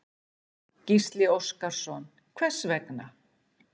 Gísli Óskarsson: Hvers vegna?